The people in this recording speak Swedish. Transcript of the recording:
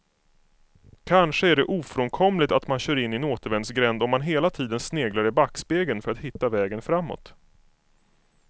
Kanske är det ofrånkomligt att man kör in i en återvändsgränd om man hela tiden sneglar i backspegeln för att hitta vägen framåt.